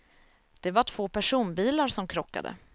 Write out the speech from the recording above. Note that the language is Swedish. Det var två personbilar som krockade.